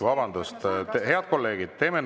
Vabandust, head kolleegid!